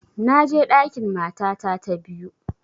Na je ɗakin matata ta biyu